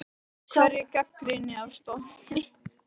Af hverju gagnrýnin á Spáni?